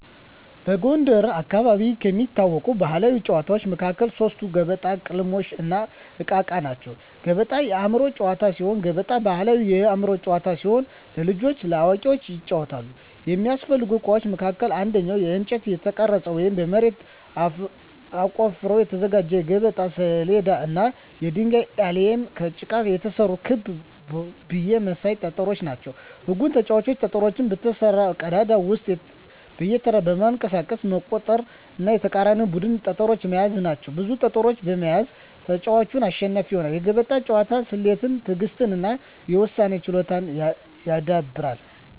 በጎንደር አካባቢ ከሚታወቁ ባሕላዊ ጨዋታዎች መካከል ሶስቱ ገበጣ፣ ቅልሞሽ፣ እና እቃ እቃ ናቸው። ገበጣ የአእምሮ ጨዋታ ሲሆን ገበጣ ባሕላዊ የአእምሮ ጨዋታ ሲሆን ለልጆችም ለአዋቂዎችም ይጫወታል። የሚያስፈልጉ እቃዎች መካከልም አንደኛ በእንጨት የተቀረጸ ወይም በመሬት ተቆፍሮ የተዘጋጀ የገበጣ ሰሌዳ እና የድንጋይ አሊያም ከጭቃ የተሰሩ ክብ ብይ መሳይ ጠጠሮች ናቸው። ህጉም ተጫዋቾች ጠጠሮቹን በተሰራው ቀዳዳ ውስጥ በየተራ በማንቀሳቀስ መቁጠር እና የተቃራኒን ቡድን ጠጠሮች መያዝ ናቸው። ብዙ ጠጠሮችን የሚይዝ ተጫዋች አሸናፊ ይሆናል። የገበጣ ጨዋታ ስሌትን፣ ትዕግሥትን እና የውሳኔ ችሎታን ያዳብራል።